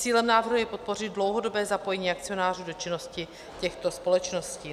Cílem návrhu je podpořit dlouhodobé zapojení akcionářů do činnosti těchto společností.